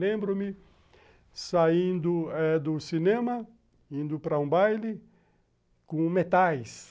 Lembro-me saindo eh do cinema, indo para um baile com metais.